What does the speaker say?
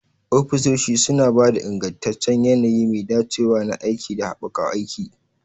Ofisoshi suna ba da ingantaccen yanayi mai dacewa na aiki da haɓaka aiki.